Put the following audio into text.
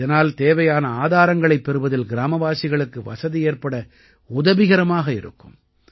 இதனால் தேவையான ஆதாரங்களைப் பெறுவதில் கிராமவாசிகளுக்கு வசதி ஏற்பட உதவிகரமாக இருக்கும்